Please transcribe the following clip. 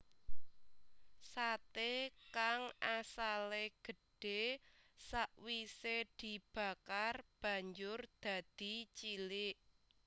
Sate kang asale gedhe sawise dibakar banjur dadi cilik